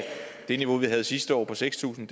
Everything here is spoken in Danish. det niveau vi havde sidste år på seks tusind